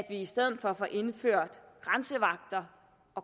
i stedet får indført grænsevagter